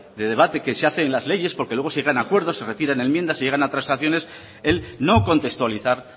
de debate que se hace en las leyes porque luego se llega a acuerdos se retiran enmiendas se llegan a transacciones el no contextualizar